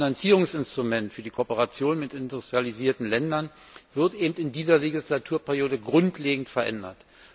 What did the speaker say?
Das Finanzierungsinstrument für die Kooperation mit industrialisierten Ländern wird eben in dieser Legislaturperiode grundlegend verändert.